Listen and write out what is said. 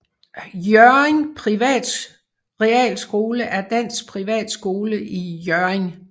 Hjørring Private Realskole er dansk privatskole i Hjørring